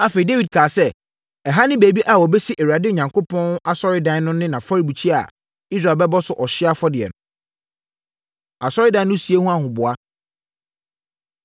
Afei, Dawid kaa sɛ, “Ɛha ne baabi a wɔbɛsi Awurade Onyankopɔn Asɔredan no ne afɔrebukyia a Israel bɛbɔ so ɔhyeɛ afɔdeɛ no.” Asɔredan No Sie Ho Ahoboa